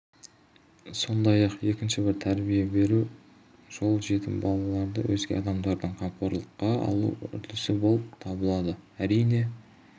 сондай-ақ екінші бір тәрбие беру жол жетім балаларды өзге азаматтардың қамқорлыққа алу үрдісі болып табылады әрине